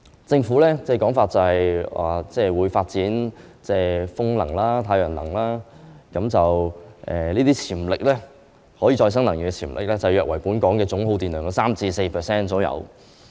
政府說會發展風能、太陽能，這些可再生能源的潛力約為本港總耗電量的 3% 至 4%。